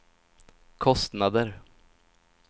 kostnader